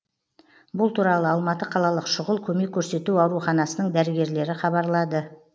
бұл туралы алматы қалалық шұғыл көмек көрсету ауруханасының дәрігерлері хабарлады